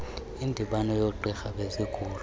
indibano yoogqirha bezigulo